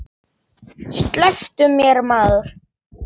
Slepptu mér maður.